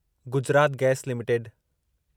Gujarat gas limited